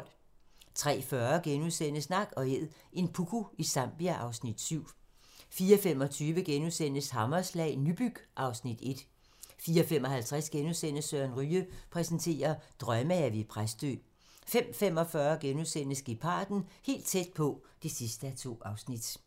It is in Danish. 03:40: Nak & æd - en puku i Zambia (Afs. 7)* 04:25: Hammerslag - Nybyg (Afs. 1)* 04:55: Søren Ryge præsenterer: Drømmehave i Præstø * 05:45: Geparden - helt tæt på (2:2)*